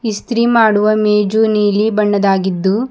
ಇಸ್ತ್ರಿ ಮಾಡುವ ಮೇಜು ನೀಲಿ ಬಣ್ಣದಾಗಿದ್ದು--